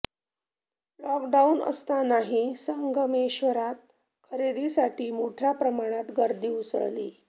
lock down असतानाही संगमेश्वरात खरेदीसाठी मोठ्या प्रमाणात गर्दी उसळली